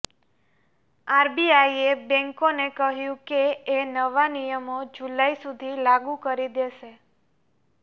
આરબીઆઇએ બેંકોને કહ્યું કે એ નવા નિયમો જુલાઇ સુધી લાગુ કરી દેશે